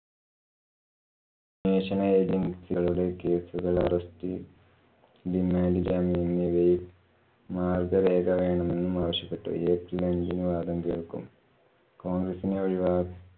national agency കളുടെ case കള്‍ arrest, remand, ജാമ്യം എന്നിവയില്‍ രേഖ വേണമെന്നുമാവശ്യപ്പെട്ട് april end നു വാദം കേള്‍ക്കും. കോണ്‍ഗ്രസ്സിനെ ഒഴിവാ~